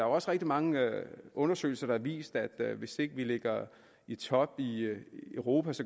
også rigtig mange undersøgelser der har vist at hvis ikke vi ligger i top i europa